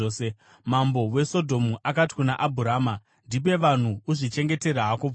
Mambo weSodhomu akati kuna Abhurama, “Ndipe vanhu uzvichengetere hako pfuma.”